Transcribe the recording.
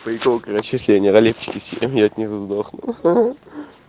начисление родительской семьи от них сдохну